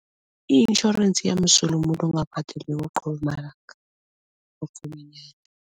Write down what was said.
I-insurance iyamsula umuntu ongabhadeliko qobe malanga